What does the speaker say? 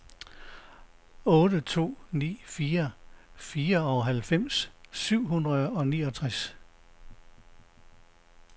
otte to ni fire fireoghalvfems syv hundrede og niogtres